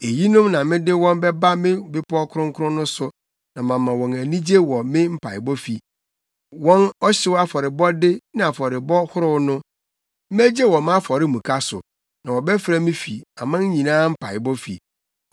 eyinom na mede wɔn bɛba me bepɔw kronkron no so na mama wɔn anigye wɔ me mpaebɔfi. Wɔn ɔhyew afɔrebɔde ne afɔrebɔ ahorow no megye wɔ mʼafɔremuka so; na wɔbɛfrɛ me fi aman nyinaa mpaebɔfi.”